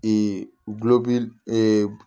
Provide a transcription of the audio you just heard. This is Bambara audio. gulɔmin